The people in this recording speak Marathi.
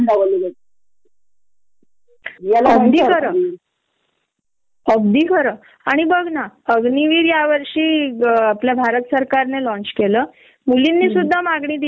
यांना मेल इगो असतो, कारण पुरुषांना मेल इगो जबरदस्त असतो महिलांच तास नही त्यांना प्रत्येकाच्या म्हणजे स्वभावानुसार त्यांच्या परिस्थीतीत कस जुळून घ्यायच हे परफेक्टली असत न त्यामुळ